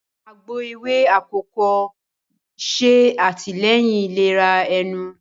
Àgbò ewé akọkọ ṣe atilẹyin ìlera ẹnu